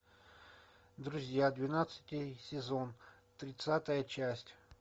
друзья двенадцатый сезон тридцатая часть